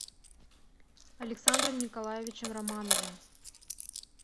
александром николаевичем романовым